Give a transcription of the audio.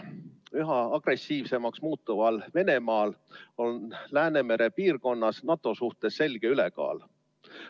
Üha agressiivsemaks muutuval Venemaal on Läänemere piirkonnas NATO suhtes selge ülekaal.